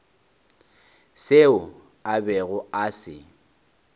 seo a bego a se